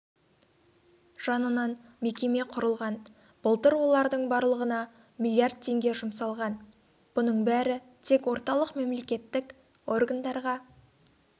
жанынан мекеме құрылған былтыр олардың барлығына млрд теңге жұмсалған бұның бәрі тек орталық мемлекеттік органдарға